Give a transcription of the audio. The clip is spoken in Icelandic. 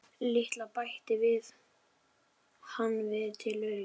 LITLA, bætti hann við til öryggis.